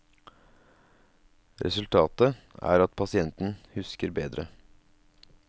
Resultatet er at pasienten husker bedre.